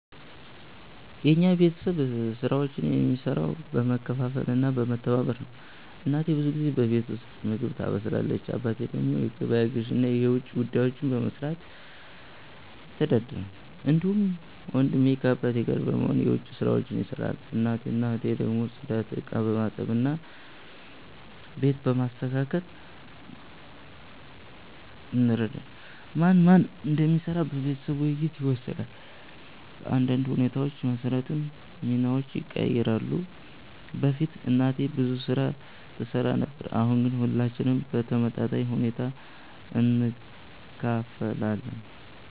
የኛ ቤተሰብ ስራዎችን የሚሰራው በመካፈል እና በመተባበር ነው። እናቴ ብዙ ጊዜ በቤት ውስጥ ምግብ ታበስላለች። አባቴ ደግሞ የገበያ ግዢ እና የውጭ ጉዳዮችን በመስራት ይተዳደራል። እንዲሁም ወንድሜ ከአባቴ ጋር በመሆን የዉጭ ስራዎች ይሰራል። እኔና እህቴ ደግሞ ጽዳት፣ ዕቃ በማጠብ እና ቤት በማስተካከል እንረዳለን። ማን ምን እንደሚሰራ በቤተሰብ ውይይት ይወሰናል፣ በአንዳንድ ሁኔታዎች መሰረትም ሚናዎች ይቀያየራሉ። በፊት እናቴ ብዙ ስራ ትሰራ ነበር፣ አሁን ግን ሁላችንም በተመጣጣኝ ሁኔታ እንካፈላለን።